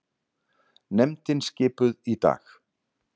Nefndin skipuð í dag